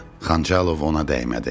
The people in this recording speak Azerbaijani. Xançalov ona dəymədi.